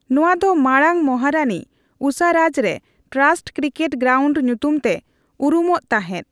ᱱᱚᱣᱟ ᱫᱚ ᱢᱟᱲᱟᱝ ᱢᱚᱦᱟᱨᱟᱱᱤ ᱩᱥᱟᱨᱟᱡᱽ ᱨᱮ ᱴᱨᱟᱥᱴ ᱠᱨᱤᱠᱮᱴ ᱜᱨᱟᱣᱩᱱᱰ ᱧᱩᱛᱩᱢ ᱛᱮ ᱩᱨᱩᱢᱚᱜ ᱛᱟᱦᱮᱫ ᱾